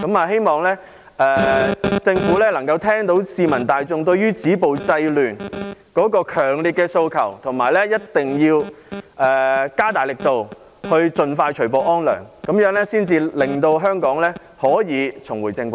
希望政府聽到市民大眾對止暴制亂的強烈訴求，而且加大力度，盡快除暴安良，令香港重回正軌。